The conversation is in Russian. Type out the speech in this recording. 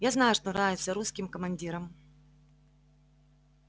я знаю что нравится русским командирам